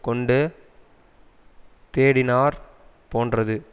கொண்டு தேடினாற் போன்றது